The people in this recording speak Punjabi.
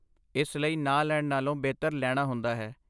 ਇਸ ਲਈ ਨਾ ਲੈਣ ਨਾਲੋਂ ਬਿਹਤਰ ਲੈਣਾ ਹੁੰਦਾ ਹੈ।